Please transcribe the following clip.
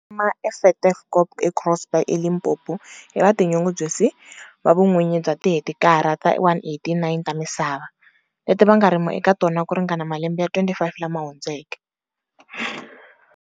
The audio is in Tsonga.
Vantima eTafelkop eGroblersdal, eLimpopo, i vatinyungubyisi va vun'winyi bya tihekitara ta 189 ta misava, leti va nga rima eka tona ku ri ngana malembe ya 25 lama hundzeke.